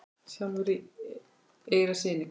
sjálfur í eyra syni?